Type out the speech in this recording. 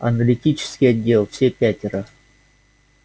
аналитический отдел все пятеро